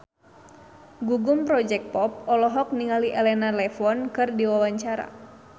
Gugum Project Pop olohok ningali Elena Levon keur diwawancara